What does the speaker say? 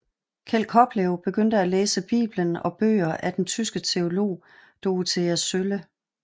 Kjeld Koplev begyndte at læse Bibelen og bøger af den tyske teolog Dorothee Sölle